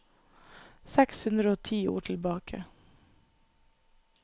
Seks hundre og ti ord tilbake